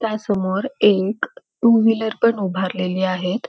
त्या समोर एक टू-व्हिलर पण उभारलेली आहेत.